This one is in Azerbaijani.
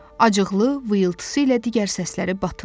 Acıqlı vıyılıltısı ilə digər səsləri batırdı.